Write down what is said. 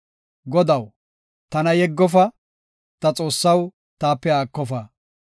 Godaw, tana yeggofa; ta Xoossaw, taape haakofa.